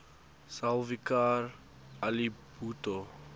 zulfikar ali bhutto